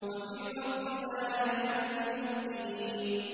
وَفِي الْأَرْضِ آيَاتٌ لِّلْمُوقِنِينَ